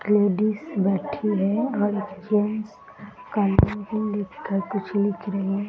Ladies बैठी है और जेंट्स कुछ लिख रहे है ।